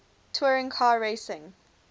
touring car racing